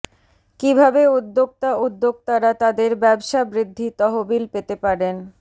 কিভাবে উদ্যোক্তা উদ্যোক্তারা তাদের ব্যবসা বৃদ্ধি তহবিল পেতে পারেন